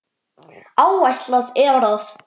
Áætlað er að